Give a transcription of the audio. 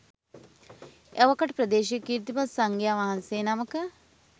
එවකට ප්‍රදේශයේ කීර්තිමත් සංඝයා වහන්සේ නමක